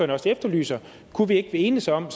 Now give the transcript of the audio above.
også efterlyser kunne vi ikke enes om